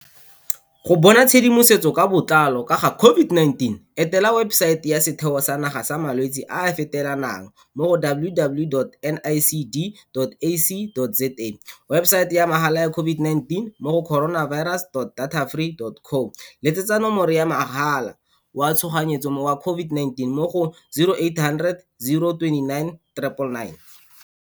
Go bona tshedimotsetso ka botlalo ka ga COVID-19, etela webesaete ya Setheo sa Naga sa Malwetse a a Fetelanang mo go www.nicd.ac.za, webesaete ya mahala ya COVID-19 mo go coronavirus.datafree.co, letsetsa Nomoro ya Mogala wa Tshoganyetso wa COVID-19 mo go 0800 029 999.